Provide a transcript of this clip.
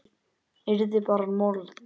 Yrði bara mold.